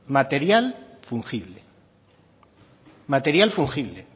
material fungible material fungible